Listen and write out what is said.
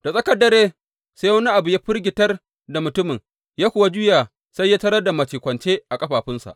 Da tsakar dare sai wani abu ya firgitar da mutumin, ya kuwa juya sai ya tarar da mace kwance a ƙafafunsa.